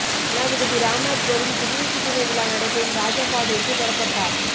ஜனாதிபதி ராம்நாத் கோவிந்த் குடியரசு தின விழா நடைபெறும் ராஜபாதைக்கு புறப்பட்டார்